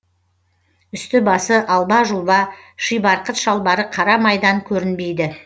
үсті басы алба жұлба шибарқыт шалбары қара майдан көрінбейді